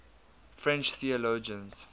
french theologians